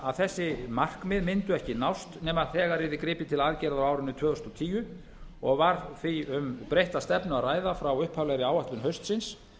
að þessi markmið mundu ekki nást nema þegar yrði gripið til aðgerða á árinu tvö þúsund og tíu og var því um breytta stefnu að ræða frá upphaflegri áætlun haustsins